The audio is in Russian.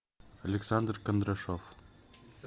александр кондрашов